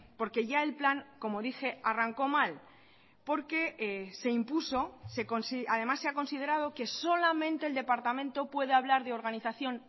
porque ya el plan como dije arrancó mal porque se impuso además se ha considerado que solamente el departamento puede hablar de organización